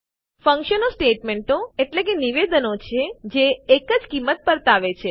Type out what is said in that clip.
ફંક્શનો સ્ટેટમેંટો નિવેદનો છે જે એક જ કિંમત પરતાવે છે